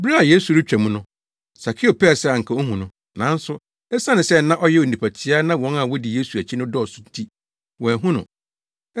Bere a Yesu retwa mu no, Sakeo pɛɛ sɛ anka ohu no, nanso esiane sɛ na ɔyɛ onipa tiaa na wɔn a wodi Yesu akyi no dɔɔso nti, wanhu no.